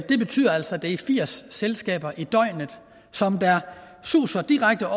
det betyder altså at det er firs selskaber i døgnet som suser direkte